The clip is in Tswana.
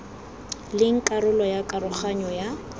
leng karolo ya karoganyo ya